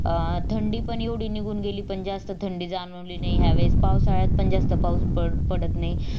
अं थंडी पण येवडी निघून गेली पण जास्त थंडी जाणवली नाही ह्यावेळेस पावसाळ्यात पण जास्त पाऊस पडत नाही